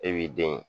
E b'i den